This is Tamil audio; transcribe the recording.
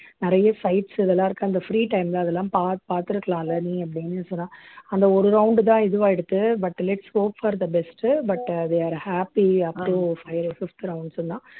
நிறைய sites இதெல்லாம் இருக்கு அந்த free time ல அதெல்லாம் பார் பார்த்திருக்கலாம்ல நீ அப்படின்னு சொன்னா அந்த ஒரு round தான் இதுவாயிடுத்து outlets hope for the best uh but uh we are happy up to phi fifth round சொன்னா